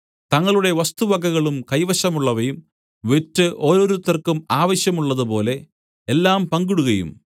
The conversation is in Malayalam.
തങ്ങളുടെ വസ്തുവകകളും കൈവശമുള്ളവയും വിറ്റ് ഓരോരുത്തർക്കും ആവശ്യമുള്ളതുപോലെ എല്ലാം പങ്കിടുകയും